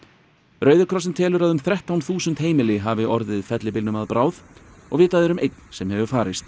rauði krossinn telur að um þrettán þúsund heimili hafi orðið fellibylnum að bráð og vitað er um einn sem hefur farist